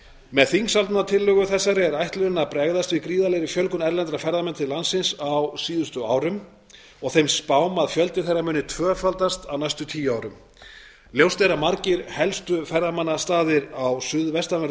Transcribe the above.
með þingsályktunartillögu þessari er ætlunin að bregðast við gríðarlegri fjölgun erlendra ferðamanna til landsins á síðustu árum og þeim spám að fjöldi þeirra muni tvöfaldast á næstu tíu árum ljóst er að margir helstu ferðamannastaðir á suðvestanverðu